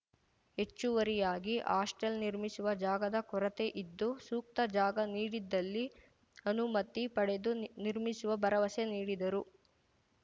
ಹೆಚ್ಚುವರಿಯಾಗಿ ಹಾಸ್ಟೆಲ್‌ ನಿರ್ಮಿಸುವ ಜಾಗದ ಕೊರತೆ ಇದ್ದು ಸೂಕ್ತ ಜಾಗ ನೀಡಿದಲ್ಲಿ ಅನುಮತಿ ಪಡೆದು ನಿರ್ಮಿಸುವ ಭರವಸೆ ನೀಡಿದರು